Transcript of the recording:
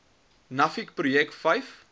nuffic projek vyf